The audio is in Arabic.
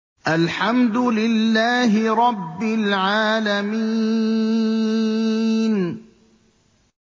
الْحَمْدُ لِلَّهِ رَبِّ الْعَالَمِينَ